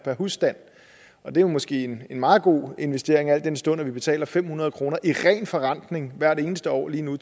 husstand og det er jo måske en meget god investering al den stund at vi betaler fem hundrede kroner i ren forrentning hvert eneste år lige nu